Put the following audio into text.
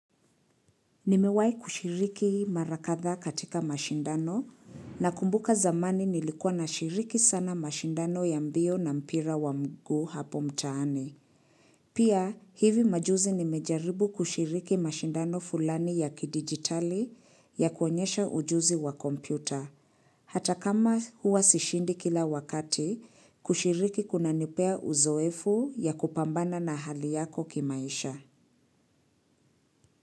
Nimewahi kushiriki mara kadhaa katika mashindano na kumbuka zamani nilikuwa na shiriki sana mashindano ya mbio na mpira wa mguu hapo mtaani. Pia hivi majuzi nimejaribu kushiriki mashindano fulani ya kidigitali ya kuonyesha ujuzi wa kompyuta. Hata kama huwa sishindi kila wakati kushiriki kuna nipea uzoefu ya kupambana na hali yako kimaisha.